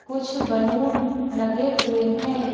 कुछ बलून लगे हुए हैं।